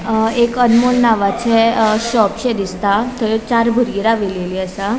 अ एक अनमोल नावाचे अ शॉपशे दिसता थंय चार बुरगी राविलेली असा.